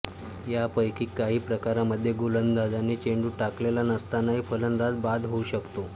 यापैकी काही प्रकारांमध्ये गोलंदाजाने चेंडू टाकलेला नसतानाही फलंदाज बाद होऊ शकतो